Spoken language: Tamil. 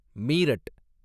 மீரட்